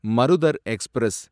Marudhar express